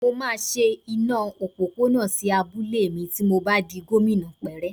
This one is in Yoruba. Mo máa ṣe iná òpópónà sí abúlé mi ti mo bá di gómìnà pẹ́rẹ́